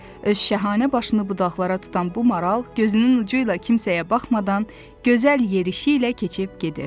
Öz şəhanə başını budaqlara tutan bu, gözünün ucu ilə kimsəyə baxmadan gözəl yerişi ilə keçib gedirdi.